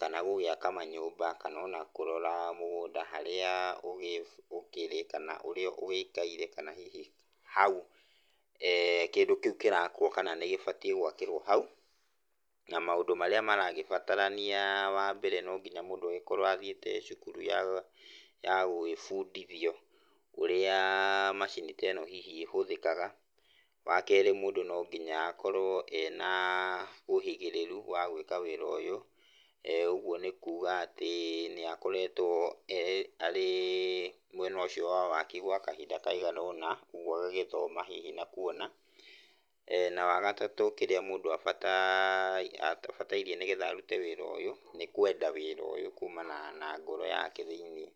kana gwaka manyũmba kana kũrora mũgũnda harĩa ũkĩrĩ kana ũikare kana hihi hau kĩu kĩrakwa nĩ kĩbatie gwakĩrwa bau na maũndũ marĩa marakĩbatarania wambere nonginya mũndũ akorwe athiĩte cukuru ya gũgíĩbudithia ũrĩa[uhh]macini ta ĩno hihi ĩhũthĩkaga, wakerĩ mũndũ nonginya mũndũ akorwe ena[uhh] ũigĩrĩru wa gwĩka ũndũ ũyũ, ũguo nĩ kuuga atĩ nĩ akoretwo arĩ[iih]mwena ũcio wa waki kwa kahinda kaigana ũna kwoguo agagĩthoma hihi na kuona ehh na wagatatũ, mũndũ abataire nĩgetha arute wĩra ũyũ nĩkwenda wĩra ũyũ kumanaga na ngoro yake thĩiniĩ.